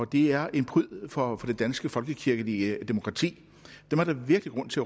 det er en pryd for det danske folkekirkelige demokrati dem er der virkelig grund til